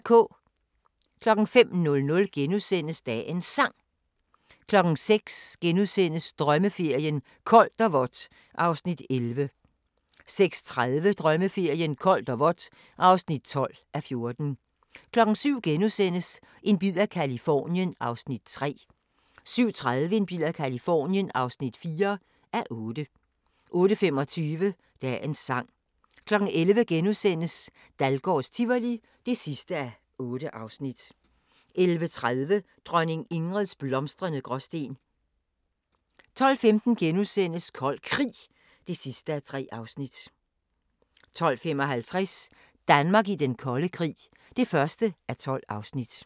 05:00: Dagens Sang * 06:00: Drømmeferien: Koldt og vådt (11:14)* 06:30: Drømmeferien: Koldt og vådt (12:14) 07:00: En bid af Californien (3:8)* 07:30: En bid af Californien (4:8) 08:25: Dagens sang 11:00: Dahlgårds Tivoli (8:8)* 11:30: Dronning Ingrids blomstrende Gråsten 12:15: Kold Krig (3:3)* 12:55: Danmark i den kolde krig (1:12)